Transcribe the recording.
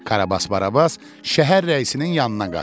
Karabas Barabas şəhər rəisinin yanına qaçdı.